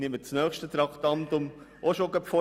Ich nehme das nächste Traktandum vorweg.